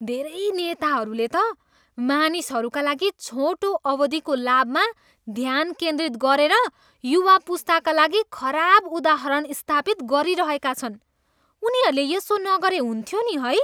धेरैजना नेताहरूले त मानिसहरूका लागि छोटो अवधिको लाभमा ध्यान केन्द्रित गरेर युवा पुस्ताका लागि खराब उदाहरण स्थापित गरिरहेका छन्। उनीहरूले यसो नगरे हुन्थ्यो नि, है?